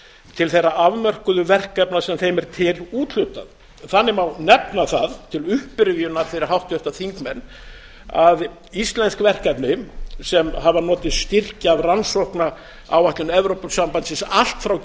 til þeirra afmörkuðu verkefna sem þeim er til úthlutað þannig má nefna það til upprifjunar fyrir háttvirta þingmenn að íslensk verkefni sem hafa notið styrkja af rannsóknaáætlun evrópusambandsins allt frá